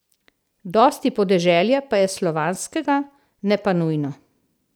Dosti podeželja pa je slovanskega, ne pa nujno.